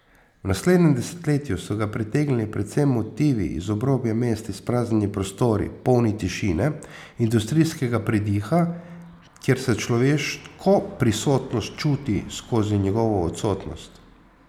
V naslednjem desetletju so ga pritegnili predvsem motivi iz obrobja mesta, izpraznjeni prostori, polni tišine, industrijskega pridiha, kjer se človeško prisotnost čuti skozi njegovo odsotnost.